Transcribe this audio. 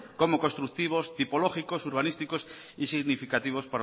como constructivos tipológicos urbanísticos y significativos